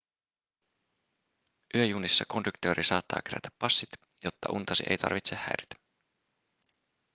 yöjunissa konduktööri saattaa kerätä passit jotta untasi ei tarvitse häiritä